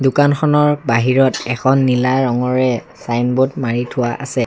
দোকানখনৰ বাহিৰত এখন নীলা ৰঙৰে চাইনব'ৰ্ড মাৰি থোৱা আছে।